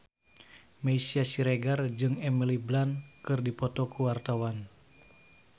Meisya Siregar jeung Emily Blunt keur dipoto ku wartawan